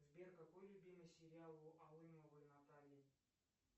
сбер какой любимый сериал у алымовой натальи